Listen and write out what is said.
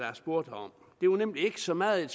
jeg spurgte om det var nemlig ikke så meget